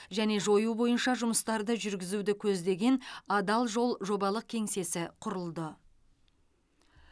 және жою бойынша жұмыстарды жүргізуді көздеген адал жол жобалық кеңсесі құрылды